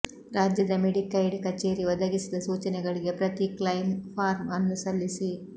ರಾಜ್ಯದ ಮೆಡಿಕೈಡ್ ಕಚೇರಿ ಒದಗಿಸಿದ ಸೂಚನೆಗಳಿಗೆ ಪ್ರತಿ ಕ್ಲೈಮ್ ಫಾರ್ಮ್ ಅನ್ನು ಸಲ್ಲಿಸಿ